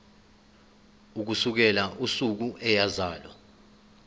ukusukela usuku eyazalwa